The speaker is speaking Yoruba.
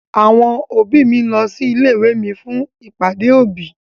Àwọn òbí ń lọ sí ilé ìwé mi fún ìpàdé òbí.